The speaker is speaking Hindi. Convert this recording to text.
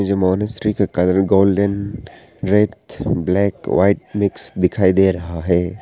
इस मॉनेस्ट्री का colour golden red black white mix दिखाई दे रहा है।